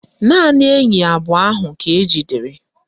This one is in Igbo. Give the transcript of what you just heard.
Naanị enyi abụọ ahụ ka ejidere